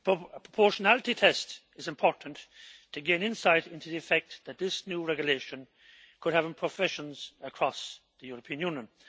A proportionality test is important to gain insight into the effect that this new regulation could have in professions across the European Union.